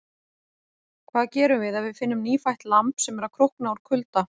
Hvað gerum við ef við finnum nýfætt lamb sem er að krókna úr kulda?